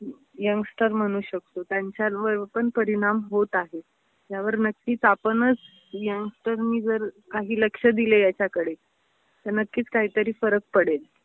Youngster म्हणू शकतो, त्यांच्यांवर पण परिणाम होत आहे. यावर नक्कीच आपणच यंगस्टरनी जर काही लक्ष दिले याच्याकडे तर नक्कीच काहीतरी फरक पडेल.